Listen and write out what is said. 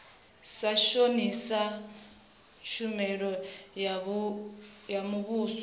sa shonisa tshumelo ya muvhuso